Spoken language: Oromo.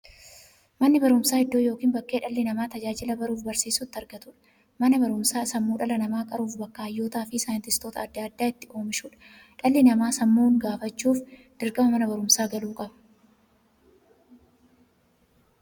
Manni baruumsaa iddoo yookiin bakkee dhalli namaa tajaajila baruufi barsiisuu itti argatuudha. Manni baruumsaa sammuu dhala namaa qaruufi bakka hayyootafi saayintistoota adda addaa itti oomishuudha. Dhalli namaa sammuun gufachuuf, dirqama Mana baruumsaa galuu qaba.